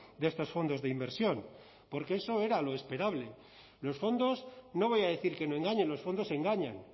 de estos fondos de inversión porque eso era lo esperable los fondos no voy a decir que no engañen los fondos engañan